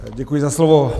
Děkuji za slovo.